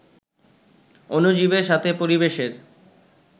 অণুজীবের সাথে পরিবেশের